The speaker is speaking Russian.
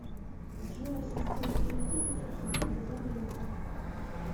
джой ассистент переведи пятьсот рублей друган леха